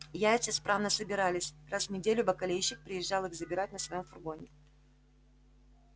яйца исправно собирались раз в неделю бакалейщик приезжал их забирать на своём фургоне